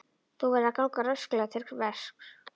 Þú verður að ganga rösklega til verks.